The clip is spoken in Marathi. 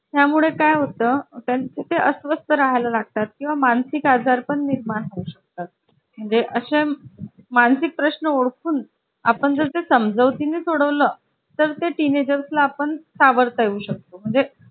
त्यामुळे काय होतं त्यांचे ते अस्वस्थ राहाय ला लागतात किंवा मानसिक आजारपण निर्माण होऊ शकतात म्हणजे असं मानसिक प्रश्न ओळखून आपण जर समजवती ने सोडवला तर ते teenagers ला आपण सावरता येऊ शकतो म्हणजे